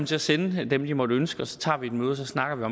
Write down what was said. til at sende dem de måtte ønske og så tager vi et møde så snakker